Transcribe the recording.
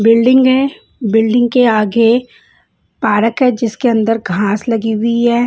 Building है building के आगे पार्क है जिसके अंदर घास लगी हुई है।